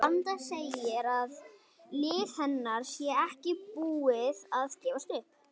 Vanda segir að lið hennar sé ekki búið að gefast upp.